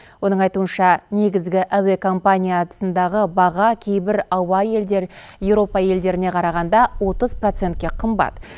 оның айтуынша негізгі әуе компаниятсндағы баға кейбір ауа елдер еуропа елдеріне қарағанда отыз процентке қымбат